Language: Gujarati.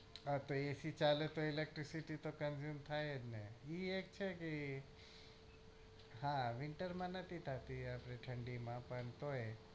હા તો AC ચાલે તો એ electricity થી તો consume થાય જ ને એ એજ છે કે હા winter માં નથી થતી ઠંડી માં પણ તોય